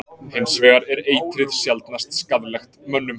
Hins vegar er eitrið sjaldnast skaðlegt mönnum.